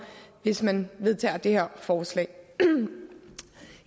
hvis man vedtager det her forslag